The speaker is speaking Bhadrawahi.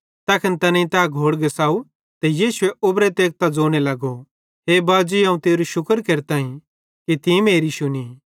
तैखन तैनेईं तै घोड़ घिसाव ते यीशुए उबरे तेकतां ज़ोने लगो हे बाजी अवं तेरू शुक्र केरतां कि तीं मेरी शुनी